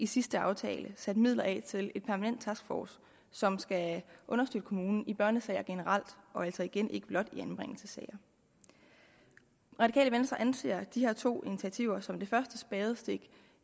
sidste aftale satte midler af til en permanent taskforce som skal understøtte kommunerne i børnesager generelt og altså igen ikke blot i anbringelsessager radikale venstre anser de her to initiativer som det første spadestik